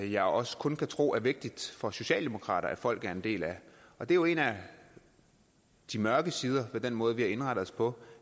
jeg også kun kan tro er vigtigt for socialdemokraterne at folk er en del af og det er jo en af de mørke sider ved den måde vi har indrettet os på